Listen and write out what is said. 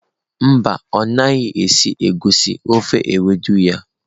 Mba, ọ naghị esi egusi ofe ewedu ya.